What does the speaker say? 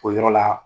O yɔrɔ la